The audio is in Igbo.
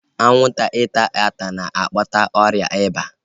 Anwụnta ịta ata a na-akpata ọrịa ịba?